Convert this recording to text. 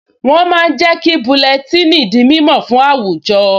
Wọ́n máa ń jẹ́ kí búlẹ́tíìnì di mímọ̀ fún àwùjọ